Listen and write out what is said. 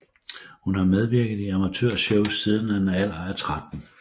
Hun har medvirket i amatør shows siden en alder af tretten